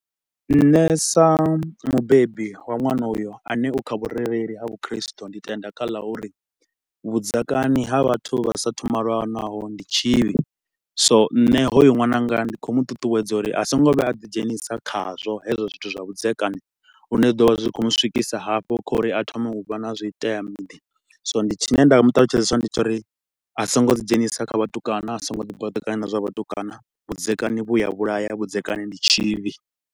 Nṋe sa mubebi wa ṅwana uyo ane u kha vhurereli ha vhu khristo ndi tenda kha la uri vhudzekani ha vhathu vha sa thu malanaho ndi tshivhi. So nṋe hoyu ṅwananga ndi khou mu ṱuṱuwedza uri a so ngo vhuya a ḓi dzhenisa khazwo hezwo zwithu zwa vhudzekani, lune zwi ḓo vha zwi khou mu swikisa hafho kha uri a thome u vha na zwitea miḓi. So ndi, tshine nda mu ṱalutshedza tshone ndi tsha uri a so ngo ḓi dzhenisa kha vhatukana, a so ngo ḓi baḓekanya na zwa vhatukana, vhudzekani vhu a vhulaya, vhudzekani ndi tshivhi.